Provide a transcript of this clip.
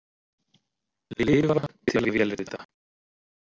Lifa til að vélrita?